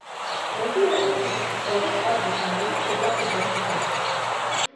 найди уроки тетушки совы азбука малышка пятый два сезон